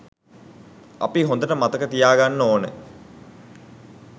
අපි හොඳට මතක තියාගන්න ඕන